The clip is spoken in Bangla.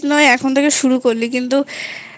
না হয় এখন থেকে শুরু করলি কিন্তু